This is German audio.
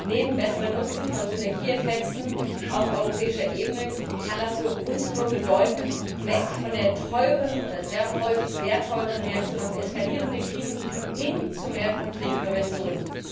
Neben besserem Nutzen von Synergieeffekten auf europäischer Ebene kann das für uns nur bedeuten Weg von der häufig sehr teuren Reaktion auf eskalierende Krisen, hin zu mehr Konfliktprävention.